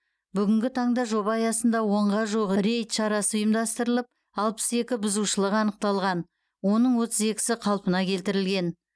бүгінгі таңда жоба аясында онға жуық рейд шарасы ұйымдастырылып алпыс екі бұзушылық анықталған оның отыз екісі қалпына келтірілген